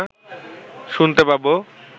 শুনতে পাব